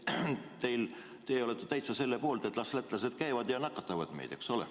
Kas teie olete selle poolt, et las lätlased käivad ja nakatavad meid?